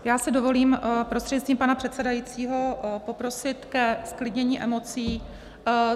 Já si dovolím prostřednictvím pana předsedajícího poprosit ke zklidnění emocí.